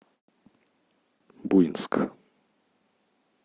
буинск